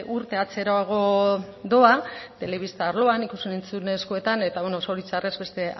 urte atzerago doa telebista arloan ikus entzumenezkoetan eta beno zoritxarrez beste